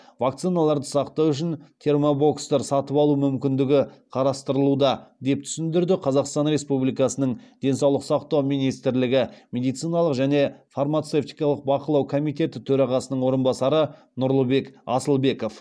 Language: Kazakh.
вакциналарды сақтау үшін термобокстар сатып алу мүмкіндігі қарастырылуда деп түсіндірді қазақстан республикасының денсаулық сақтау министрлігі медициналық және фармацевтикалық бақылау комитеті төрағасының орынбасары нұрлыбек асылбеков